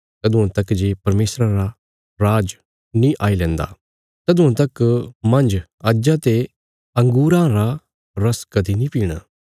तदुआं तक जे परमेशरा रा राज नीं आई लैन्दा तदुआं तक मांज अज्जा ते अंगूरां रा रस कदीं नीं पीणा